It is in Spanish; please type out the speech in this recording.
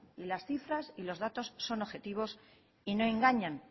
y las cifras y los datos son objetivos y no engañan